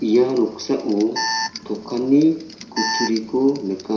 ia noksao dokanni kutturiko nika.